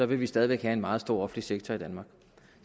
vi stadig væk have en meget stor offentlig sektor i danmark